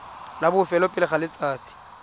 la bofelo pele ga letsatsi